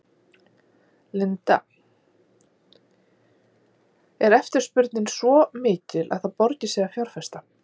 Linda: Er eftirspurnin svo mikil að það borgi sig að fjárfesta?